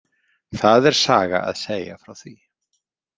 Það er saga að segja frá því